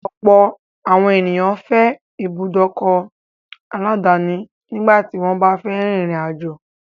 Ọ̀pọ̀ àwọn ènìyàn fẹ́ ìbùdókọ̀ aláàdáni nígbà tí wọ́n bá fẹ́ rin ìrìn àjò.